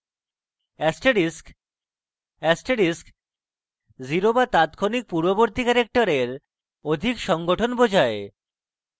asterisk: asterisk 0 the তাত্ক্ষণিক পূর্ববর্তী ক্যারেক্টারের অধিক সংঘটন বোঝায়